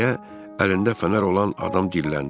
deyə əlində fənər olan adam dilləndi.